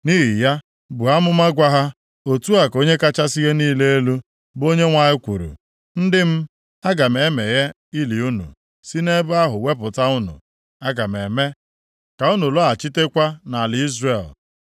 Nʼihi ya, buo amụma gwa ha, ‘otu a ka Onye kachasị ihe niile elu, bụ Onyenwe anyị kwuru, Ndị m, aga m emeghe ili unu, si nʼebe ahụ wepụta unu. Aga m eme ka unu lọghachitakwa nʼala Izrel.